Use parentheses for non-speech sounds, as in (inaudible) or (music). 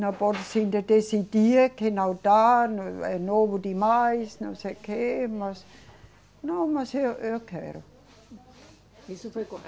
Não pode se de, decidir que não dá, é novo demais, não sei o quê, mas... Não, mas eu, eu quero. Isso foi (unintelligible)